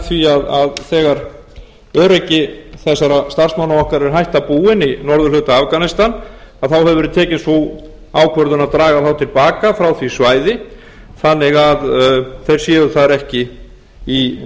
því að þegar öryggi þessara starfsmanna er hætta búin í norðurhluta afganistan þá hefur verið tekin sú ákvörðun að draga þá til baka frá því bæði þannig að þeir séu þar ekki í